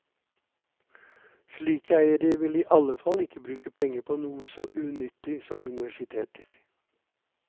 Slike eiere vil i alle fall ikke bruke penger på noe så unyttig som universiteter.